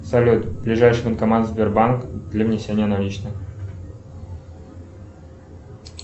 салют ближайший банкомат сбербанк для внесения наличных